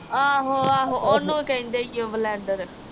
ਓਹਨੂੰ ਕਹਿੰਦੇ ਈ ਓ ਬਲੈਂਡਰ